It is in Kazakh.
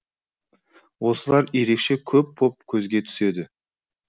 осылар ерекше көп боп көзге түседі